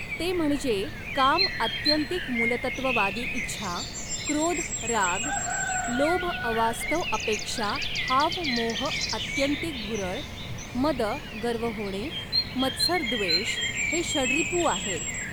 ते म्हणजे काम आत्यंतिक मूलतत्ववादी इच्छा, क्रोध राग, लोभ अवास्तव अपेक्षा हाव मोह आत्यंतिक भुरळ, मद गर्व होणे, मत्सर द्वेष हे षडरिपू आहेत.